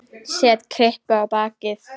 Set kryppu á bakið.